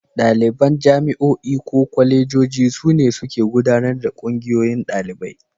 Ɗaliban jami'o'i ko kwalejoji su ne suke gudanar da Ƙungiyoyin Ɗalibai.